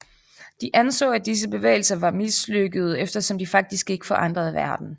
De anså at disse bevægelser var mislykkede eftersom de faktisk ikke forandrede verden